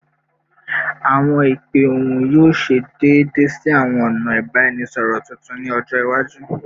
Awọn ipe ohun yoo ṣe deede si awọn ọna ibaraẹnisọrọ tuntun ni ọjọ iwaju